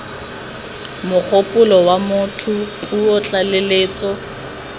mogopolo wa motho puo tlaleletso